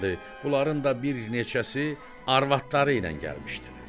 Bunların da bir neçəsi arvadları ilə gəlmişdilər.